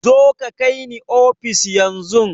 Zoka ka kai ni ofis yan zun